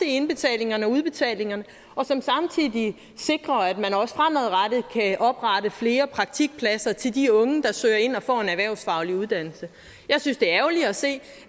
indbetalinger og udbetalinger og som samtidig sikrer at man også fremadrettet kan oprette flere praktikpladser til de unge der søger ind og får en erhvervsfaglig uddannelse jeg synes det er ærgerligt at se